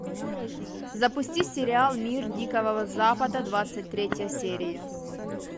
запусти сериал мир дикого запада двадцать третья серия